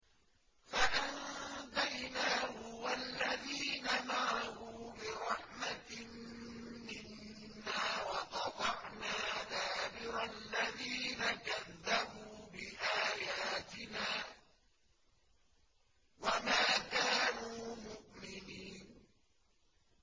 فَأَنجَيْنَاهُ وَالَّذِينَ مَعَهُ بِرَحْمَةٍ مِّنَّا وَقَطَعْنَا دَابِرَ الَّذِينَ كَذَّبُوا بِآيَاتِنَا ۖ وَمَا كَانُوا مُؤْمِنِينَ